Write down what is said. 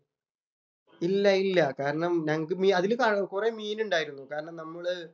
ഇല്ല ഇല്ല കാരണം ഞങ്ങക്ക് മീ അതിൽ കൊറേ മീനുണ്ടായിരുന്നു. കാരണം നമ്മള്